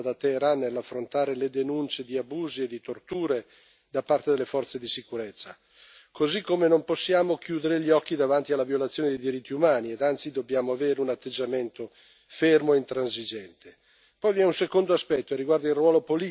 e dinanzi alla crescente ambiguità mostrata da Teheran nell'affrontare le denunce di abusi e di torture da parte delle forze di sicurezza, così come non possiamo chiudere gli occhi davanti alla violazione dei diritti umani e, anzi, dobbiamo avere un atteggiamento fermo e intransigente.